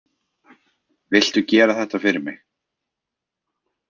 Viltu gera þetta fyrir mig!